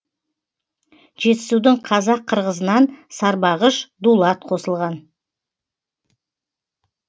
жетісудың қазақ қырғызынан сарбағыш дулат қосылған